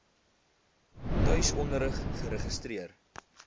tuis onderrig geregistreer